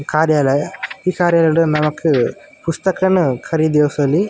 ಕಾರ್ಯಲಯ ಈ ಕಾರ್ಯಲಯಡ್ ನಮಕ್ ಪುಸ್ತಕನ್ ಖರೀದಿಸೊಲಿ.